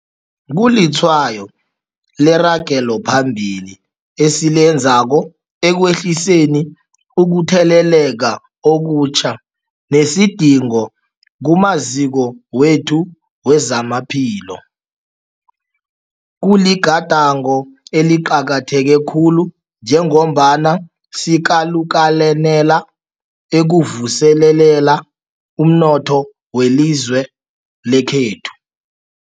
Kulitshwayo leragelo phambili esilenzako ekwehliseni ukutheleleka okutjha nesidingo kumaziko wethu wezamaphilo. Kuligadango eliqakatheke khulu njengombana sikalukanela ukuvuselela umnotho welizwe lekhethu.